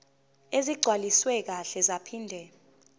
ezigcwaliswe kahle zaphinde